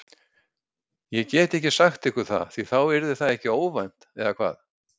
Ég get ekki sagt ykkur það því þá yrði það ekki óvænt eða hvað?